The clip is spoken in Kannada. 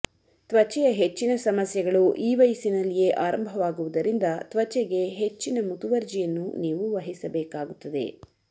ತ್ವಚೆಯ ಹೆಚ್ಚಿನ ಸಮಸ್ಯೆಗಳು ಈ ವಯಸ್ಸಿನಲ್ಲಿಯೇ ಆರಂಭವಾಗುವುದರಿಂದ ತ್ವಚೆಗೆ ಹೆಚ್ಚಿನ ಮುತುವರ್ಜಿಯನ್ನು ನೀವು ವಹಿಸಬೇಕಾಗುತ್ತದೆ